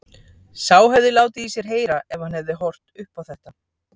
Sá hefði látið í sér heyra ef hann hefði horft upp á þetta!